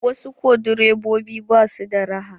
Wasu direbobin ba su da raha.